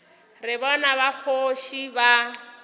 re bana ba kgoši ba